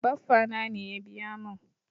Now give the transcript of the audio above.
Baffa na ne ya biya mun.